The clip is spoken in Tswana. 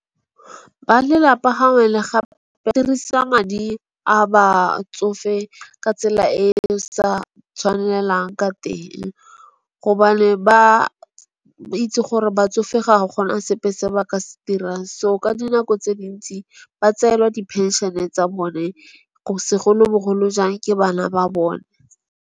Ba lelapa le gape ba dirisa madi a batsofe ka tsela e e sa tshwanelang ka teng. Gobane ba itse gore batsofe ga gona sepe se ba ka se dirang. So, ka dinako tse dintsi ba tseelwa dipenšene tsa bone, segolobogolo jang ke bana ba bone.